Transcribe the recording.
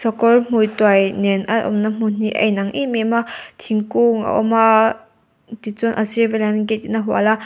sakawrhmuituai nen a awmna hmun hi a inang em em a thingkung a awm a tichuan a sir velah hian gate in a hual a.